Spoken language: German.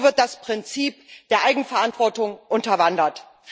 So wird das Prinzip der Eigenverantwortung unterwandert.